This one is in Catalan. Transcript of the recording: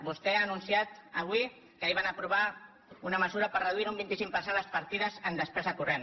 vostè ha anunciat avui que ahir van aprovar una mesura per reduir un vint cinc per cent les partides en despesa corrent